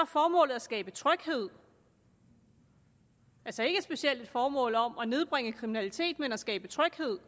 formålet at skabe tryghed altså ikke specielt et formål om at nedbringe kriminaliteten men at skabe tryghed